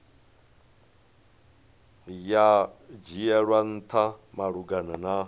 ya dzhielwa ntha malugana na